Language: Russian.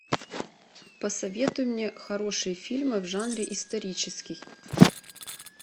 посоветуй мне хорошие фильмы в жанре исторический